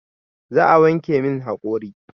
Za a wanke min haƙori